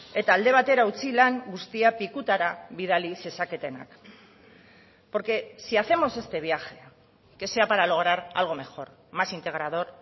eta alde batera utzi lan guztia pikutara bidali zezaketenak porque si hacemos este viaje que sea para lograr algo mejor más integrador